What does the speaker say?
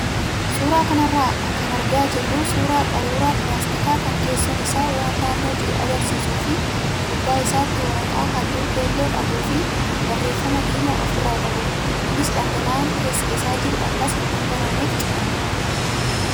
Suuraa kanarraa kan argaa jirru suuraa qaruuraa pilaastikaa kan keessoon isaa waan naannoo jiru agarsiisuu fi gubbaa isaatti waraqaa halluu keelloo qabuu fi barreeffama diimaa ofirraa qabudha. Innis dhangala'aan keessa isaa jiru akkas hin dhangalaaneef cufameera.